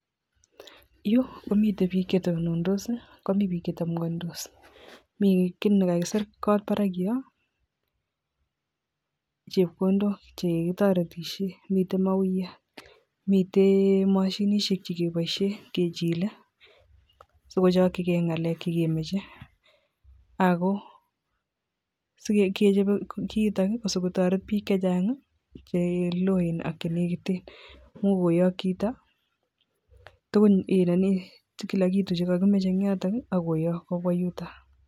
Yuu komiten bik chetonondos sii komii bik chetomgondos mii kit nekakisir kot barak yon chepkondok chekitoretoshen miten mawuiyat miten moshinishek chekiboishen kechile sikochokigee ngalek chekemoche ako sikechobe kiito ko sikototet bik chechangi cheloen ak chenekiten mui kotok chito tukun kila kitu chekokimoche en yoton nii akoyok kobwa yutok.